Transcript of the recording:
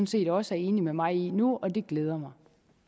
set også er enig med mig i det nu og det glæder mig